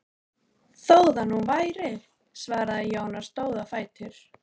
Þó það nú væri, svaraði Jón og stóð á fætur.